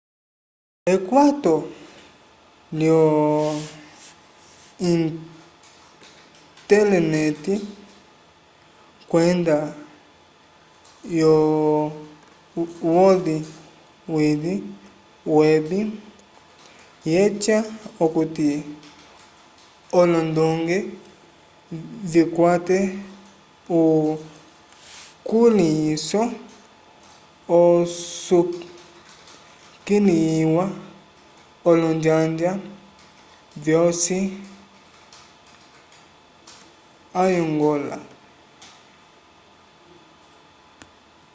ekwato lyo-intelenete kwenda yo world wide web yeca okuti olondonge vikwate ukulĩhiso usukiliwa olonjanja vyosi ayngola